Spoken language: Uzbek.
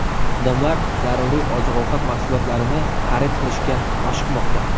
Odamlar zaruriy oziq-ovqat mahsulotlarini xarid qilishga oshiqmoqda.